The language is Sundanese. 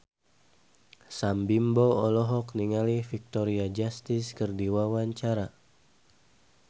Sam Bimbo olohok ningali Victoria Justice keur diwawancara